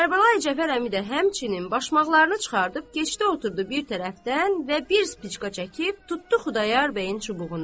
Kərbəlayi Cəfər əmi də həmçinin başmaqlarını çıxarıb, keçdi oturdu bir tərəfdən və bir spicka çəkib, tutdu Xudayar bəyin çubuğuna.